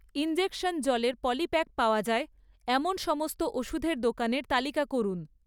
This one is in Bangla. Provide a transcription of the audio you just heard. ইনজেকশন জলের পলিপ্যাক পাওয়া যায় এমন সমস্ত ওষুধের দোকানের তালিকা করুন